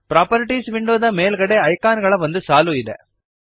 properties ವಿಂಡೋದ ಮೇಲ್ಗಡೆಗೆ icon ಗಳ ಒಂದು ಸಾಲು ಇದೆ